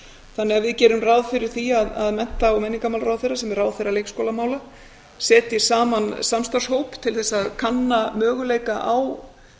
þannig að við gerum ráð fyrir því að mennta og menningarmálaráðherra sem er ráðherra leikskólamála setji saman samstarfshóp til þess að kanna möguleika á